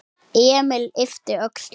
Emil yppti öxlum.